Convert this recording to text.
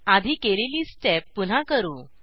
आधी केलेली स्टेप पुन्हा करू